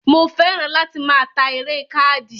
Mo fẹ́ràn láti máa ta eré káàdì